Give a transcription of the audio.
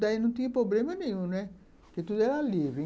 Daí não tinha problema nenhum, né, porque tudo era livre.